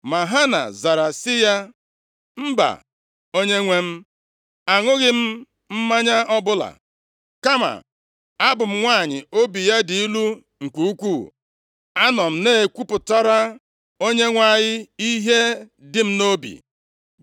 Ma Hana zara sị ya, “Mba, onyenwe m, aṅụghị m mmanya ọbụla! Kama abụ m nwanyị obi ya dị ilu nke ukwuu. Anọ m na-ekwupụtara Onyenwe anyị ihe dị m nʼobi.